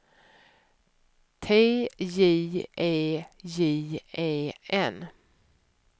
T J E J E N